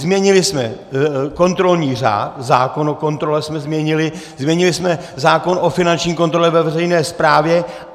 Změnili jsme kontrolní řád, zákon o kontrole jsme změnili, změnili jsme zákon o finanční kontrole ve veřejné správě.